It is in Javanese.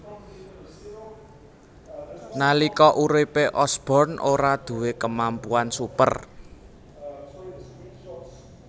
Nalika uripe Osborn ora duwé kemampuan super